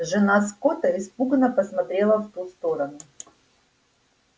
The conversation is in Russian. жена скотта испуганно посмотрела в ту сторону